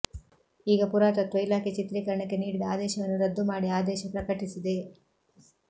ಈಗ ಪುರಾತತ್ವ ಇಲಾಖೆ ಚಿತ್ರೀಕರಣಕ್ಕೆ ನೀಡಿದ ಆದೇಶವನ್ನು ರದ್ದು ಮಾಡಿ ಆದೇಶ ಪ್ರಕಟಿಸಿದೆ